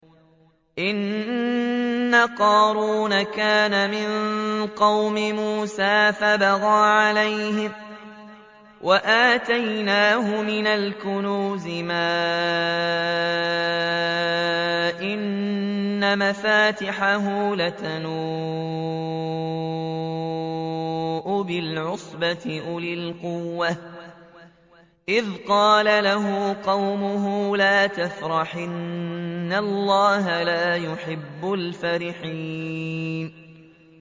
۞ إِنَّ قَارُونَ كَانَ مِن قَوْمِ مُوسَىٰ فَبَغَىٰ عَلَيْهِمْ ۖ وَآتَيْنَاهُ مِنَ الْكُنُوزِ مَا إِنَّ مَفَاتِحَهُ لَتَنُوءُ بِالْعُصْبَةِ أُولِي الْقُوَّةِ إِذْ قَالَ لَهُ قَوْمُهُ لَا تَفْرَحْ ۖ إِنَّ اللَّهَ لَا يُحِبُّ الْفَرِحِينَ